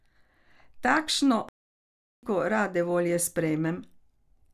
Takšno kritiko rade volje sprejmem.